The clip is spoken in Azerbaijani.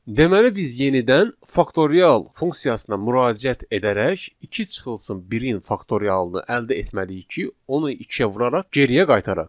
Deməli biz yenidən faktorial funksiyasına müraciət edərək 2 çıxılsın 1-in faktorialını əldə etməliyik ki, onu 2-yə vuraraq geriyə qaytaraq.